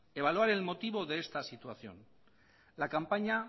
evaluar el motivo de esta situación la campaña